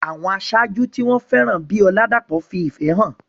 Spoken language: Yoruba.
Àwọn aṣáájú tí wọ́n fẹ́ràn bíi Oladapo fi ìfẹ́ hàn.